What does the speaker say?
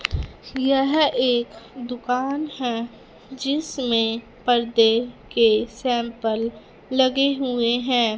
यह एक दुकान है जिसमें पर्दे के सैंपल लगे हुए हैं।